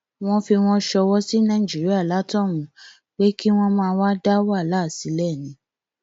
wọn fi wọn sọwọ sí nàìjíríà látohunún pé kí wọn máà wáá dá wàhálà sílẹ ni